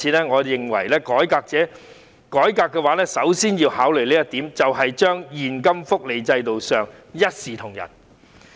我認為如要改革，首先要考慮的，便是把現金福利制度設定為一視同仁。